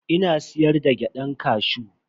Ina siyar da gyadan kashew.